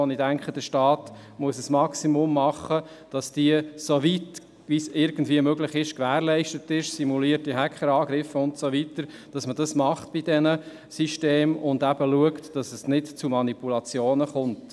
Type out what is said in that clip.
Doch ich denke, der Staat muss ein Maximum dafür tun, damit diese soweit irgendwie möglich gewährleistet ist – Stichwort «simulierte Hacker-Angriffe» und so weiter – und man schaut, dass es nicht zu Manipulationen kommt.